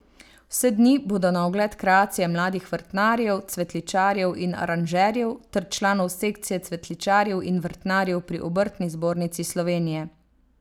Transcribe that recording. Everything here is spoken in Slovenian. Vse dni bodo na ogled kreacije mladih vrtnarjev, cvetličarjev in aranžerjev ter članov sekcije cvetličarjev in vrtnarjev pri Obrtni zbornici Slovenije.